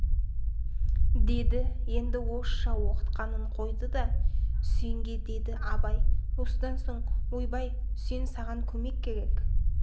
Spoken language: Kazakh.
деді енді орысша оқытқанын қойды да үсенге деді абай осыдан соң ойбай үсен саған көмек керек